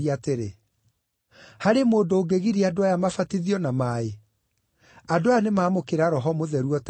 “Harĩ mũndũ ũngĩgiria andũ aya mabatithio na maaĩ? Andũ aya nĩmamũkĩra Roho Mũtheru o ta ithuĩ.”